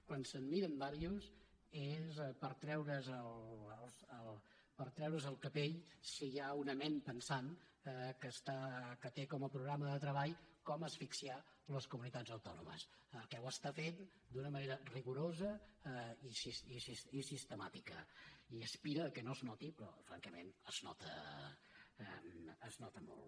quan se’n miren diversos és per treure’s el capell si hi ha una ment pensant que té com a programa de treball com asfixiar les comunitats autònomes que ho està fent d’una manera rigorosa i sistemàtica i aspira que no es noti però francament es nota molt